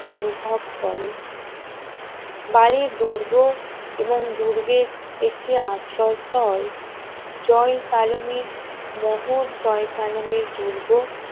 অনুভব করে বালির দুর্গ এবং দুর্গের একটি আশ্রয়স্থল জয়সালমীর মহল জয়সালমীর দুর্গ